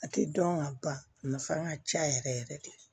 A tɛ dɔn ka ban a nafan ka ca yɛrɛ yɛrɛ yɛrɛ de